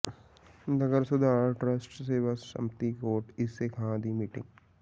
ਨਗਰ ਸੁਧਾਰ ਟਰੱਸਟ ਸੇਵਾ ਸੰਮਤੀ ਕੋਟ ਈਸੇ ਖਾਂ ਦੀ ਮੀਟਿੰਗ